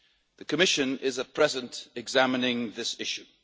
The Commission is at present examining this issue.